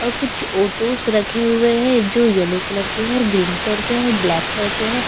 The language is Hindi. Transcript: और कुछ फोटोज रखे हुए है जो येल्लो कलर के है ग्रीन कलर के है और ब्लैक कलर के है।